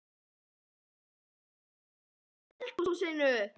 Við viljum ekki brenna okkur í eldhúsinu.